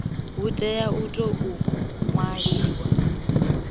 hu tea u tou ṅwaliwa